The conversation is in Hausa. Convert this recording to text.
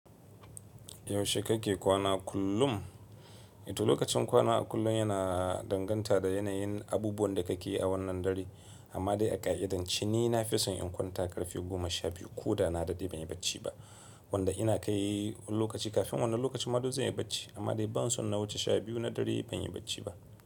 Yaushe kake kwana kullum? Ito lokacin kwana a kullum yana danganta da yanayin abubuwan da kake yi a wannan dare, amma dai a ƙa'idanci ni na fi son in kwanta ƙarfe goma sha biyu ko da na daɗe ban yi bacci ba, wanda ina kai lokaci kafin wannan lokaci ma dole zan yi bacci, amma dai ban so na wuce sha biyu na dare ban yi bacci ba.